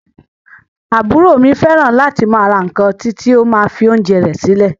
Àbúrò mi fẹràn láti máa ra nkán titi o ma fi oúnjẹ rẹ silẹ.